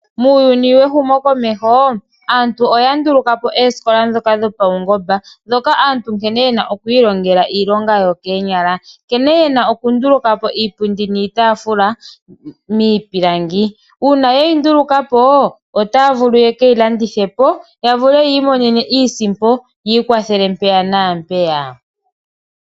Muuyuni wehumokomeho aantu oya nduluka po oosikola ndhoka dhopaungomba, ndhoka dha nkene aantu ye na oku ilongela iilonga yokoonyala. Nkene ye na okunduluka po iipundi niitaafula miipilangi. Uuna ye yi nduluka po otaya vulu ye ke yi landithe po ya vule oku imonena iisimpo yi ikwathele mpaka naa mpeyaka.